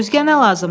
Özgə nə lazımdır?